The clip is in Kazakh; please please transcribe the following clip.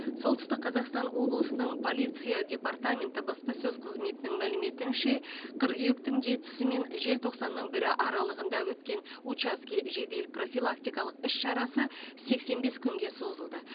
солтүстік қазақстан облысының полиция департаменті баспасөз қызметінің мәліметінше қыркүйектің жетісі мен желтоқсанның бірі аралығында өткен учаске жедел профилактикалық іс шарасы сексен бес күнге созылды